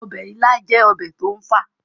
ọbẹ̀ ilá jẹ́ ọbẹ̀ tó ń fà